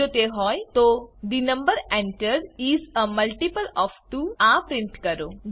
જો તે હોય તો the number entered is a multiple of 2 આ પ્રિન્ટ કરો